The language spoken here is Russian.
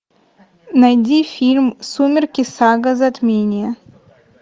найди фильм сумерки сага затмение